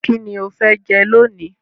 Kíni o fe jẹ lónìí